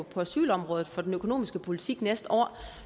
på asylområdet for den økonomiske politik næste år